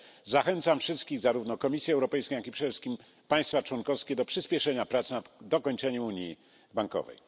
Zachęcam wszystkich, zarówno Komisję Europejską, jak i państwa członkowskie do przyspieszenia prac nad dokończeniem unii bankowej.